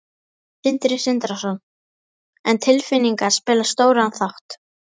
Sindri Sindrason: En tilfinningar spila stóran þátt?